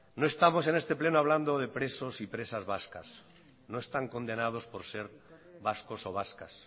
no estamos en este pleno hablando de presos y presas vascas no están condenados por ser vascos o vascas